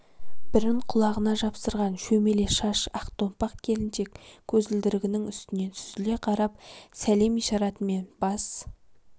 бірін құлағына жапсырған шөмеле шаш ақ томпақ келіншек көзілдірігінің үстінен сүзіле қарап сәлем ишаратымен бас